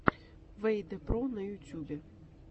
вэйдэ про на ютьюбе